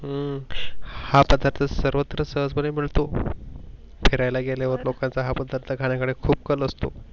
हम्म हा पदार्थ तस सर्वत्र सहजपने बोलतो. फिरायेला गेल्यावर लोकांचा हा पदार्थ खाण्याच खूप कण असतो.